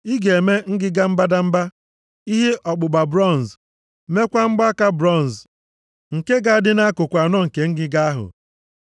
Ị ga-eme ngịga mbadamba, ihe ọkpụkpa bronz, meekwa mgbaaka bronz nke ga-adị nʼakụkụ anọ nke ngịga ahụ.